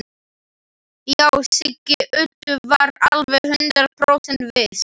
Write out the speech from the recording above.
Já, Siggi Öddu var alveg hundrað prósent viss.